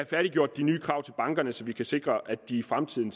færdiggjort de nye krav til bankerne så vi kan sikre at de i fremtiden